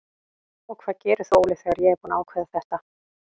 Og hvað gerir þú Óli þegar ég er búinn að ákveða þetta?